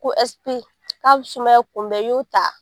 Ko S P k'a bɛ sumaya kunbɛ i y'o ta